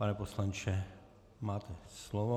Pane poslanče, máte slovo.